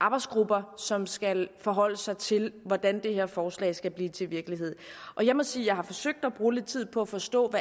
arbejdsgrupper som skal forholde sig til hvordan det her forslag skal blive til virkelighed og jeg må sige at jeg har forsøgt at bruge lidt tid på at forstå hvad